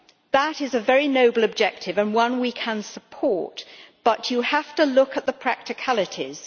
this is a very noble objective and one we can support, but one has to look at the practicalities.